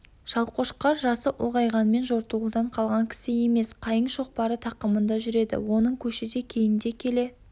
шалқошқар жасы ұлғайғанмен жортуылдан қалған кісі емес қайың шоқпары тақымында жүреді оның көші де кейінде келе